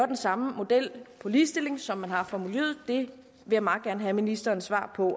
den samme model for ligestilling som man har for miljøet vil jeg meget gerne have ministerens svar på